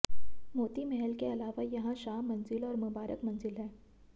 मोती महल के अलावा यहां शाह मंजिल और मुबारक मंजिल है